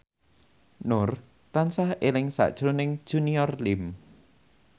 Nur tansah eling sakjroning Junior Liem